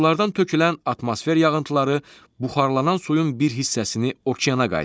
Buludlardan tökülən atmosfer yağıntıları buxarlanan suyun bir hissəsini okeana qaytarır.